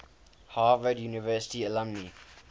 harvard university alumni